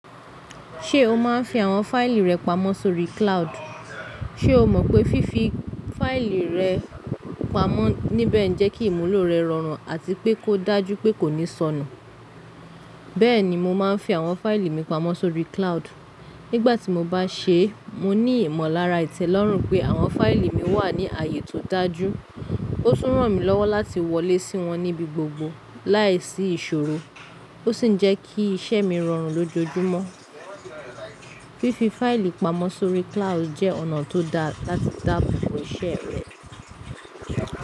Ṣé o máa ń fi àwọn fáìlì rẹ pamọ́ sórí cloud? Ṣé o mọ̀ pé fífi fáìlì rẹ pamọ́ níbẹ̀ ń jẹ́ kí ìmúlò rẹ rọrùn àti pé kó dájú pé kò ní sọnù. Bẹ́ẹ̀ ni mà á ń fi àwọn fáìlì mi pamọ́ sórí cloud. Nígbà tí mo bá ṣe, mo ní ìmọ̀lára ìtẹ̀lọ́rùn pé àwọn fáìlì mi wà ní ààyè tó dájú. Ó tún ràn mí lọ́wọ́ láti wọlé sí wọn níbi gbogbo láìsí ìṣòro, ó sì ń jẹ́ kí iṣẹ́ mi rọrùn lójojúmọ́. Fífi fáìlì pamọ́ sórí cloud jẹ́ ọ̀nà tó dá láti dáàbò bo iṣẹ́ rẹ.